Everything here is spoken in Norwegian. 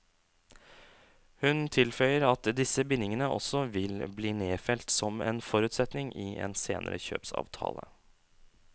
Hun tilføyer at disse bindingene også vil bli nedfelt som en forutsetning i en senere kjøpsavtale.